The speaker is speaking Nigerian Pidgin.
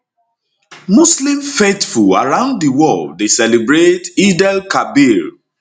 muslim faithful around di world dey celebrate eidelkabir